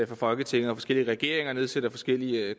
folketinget og forskellige regeringer nedsætter forskellige